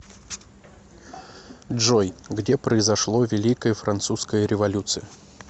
джой где произошло великая французская революция